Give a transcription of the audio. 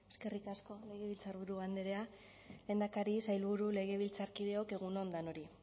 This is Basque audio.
eskerrik asko legebiltzarburu andrea lehendakari sailburu legebiltzarkideok egun on danori